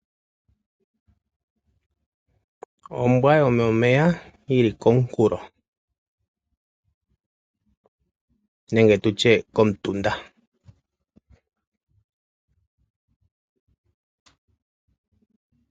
Ombwa yomomeya yili komunkulo nenge tutye komutunda.